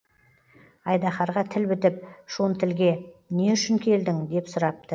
айдаһарға тіл бітіп шонтілге не үшін келдің деп сұрапты